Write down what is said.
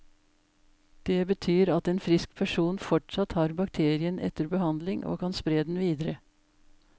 Det betyr at en frisk person fortsatt har bakterien etter behandling, og kan spre den videre.